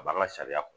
A b'an ka sariya